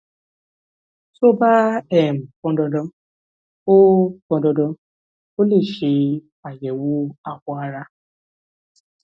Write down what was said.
tó bá um pọn dandan o pọn dandan o lè ṣe àyẹwò awọ ara